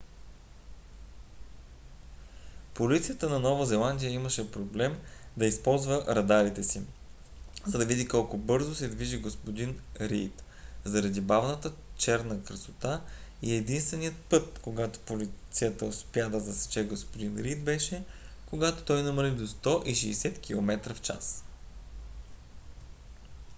полицията на нова зеландия имаше проблем да използва радарите си за да види колко бързо се движи г-н рийд заради бавната черна красота и единственият път когато полицията успя да засече г-н рийд беше когато той намали до 160 км/ч